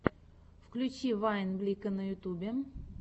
включи вайн блико на ютубе